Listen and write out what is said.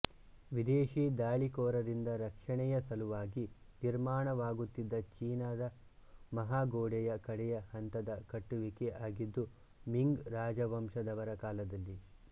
ವಿದೇಶೀ ದಾಳಿಕೋರರಿಂದ ರಕ್ಷಣೆಯ ಸಲುವಾಗಿ ನಿರ್ಮಾಣವಾಗುತ್ತಿದ್ದ ಚೀನಾದ ಮಹಾಗೋಡೆಯ ಕಡೆಯ ಹಂತದ ಕಟ್ಟುವಿಕೆ ಆಗಿದ್ದು ಮಿಂಗ್ ರಾಜವಂಶದವರ ಕಾಲದಲ್ಲಿ